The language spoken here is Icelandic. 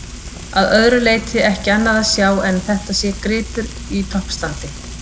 Að öðru leyti ekki annað að sjá en að þetta sé gripur í toppstandi.